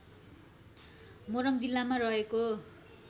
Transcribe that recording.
मोरङ जिल्लामा रहेको